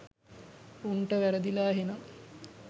උන්ට වැරදිලා එහෙනන්